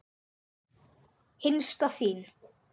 Hinsta þín.